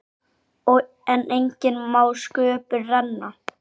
En enginn má sköpum renna.